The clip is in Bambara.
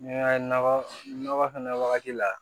N'i y'a ye nɔgɔ na fɛnɛ wagati la